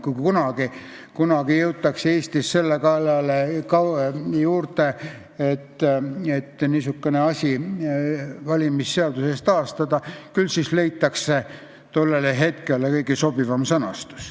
Kui kunagi jõutakse Eestis selle juurde, et niisugune asi valimisseaduses taastatakse, küll siis leitakse tollele hetkele kõige sobivam sõnastus.